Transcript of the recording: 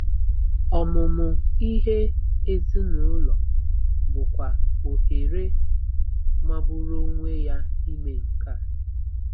Ọmụmụ ihe ezinụlọ bụkwa ohere magburu onwe ya ime nke a.